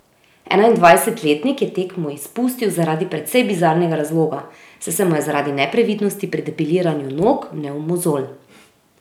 Enaindvajsetletnik je tekmo izpustil zaradi precej bizarnega razloga, saj se mu je zaradi neprevidnosti pri depiliranju nog vnel mozolj.